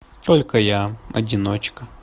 только я одиночка